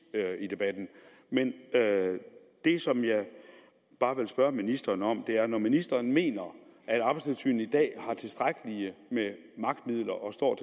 i debatten men det som jeg bare vil spørge ministeren om er når ministeren mener at arbejdstilsynet i dag har tilstrækkelige magtmidler og står